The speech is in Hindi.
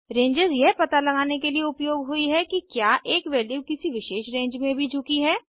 रेंजेस यह पता लगाने के लिए उपयोग हुई हैं कि क्या एक वैल्यू किसी विशेष रेंज में भी झुकी है